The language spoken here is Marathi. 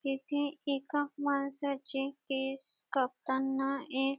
तेथे एका माणसाचे केस कापताना एक--